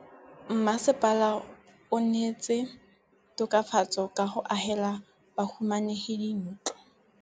Mmasepala o neetse tokafatsô ka go agela bahumanegi dintlo.